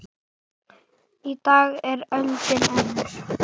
Í dag er öldin önnur.